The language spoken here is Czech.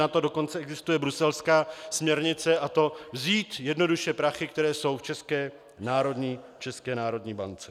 Na to dokonce existuje bruselská směrnice, a to vzít jednoduše prachy, které jsou v České národní bance.